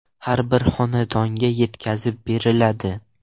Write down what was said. har bir xonadonga yetkazib beriladi.